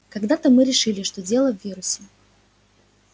когда-то мы решили что дело в вирусе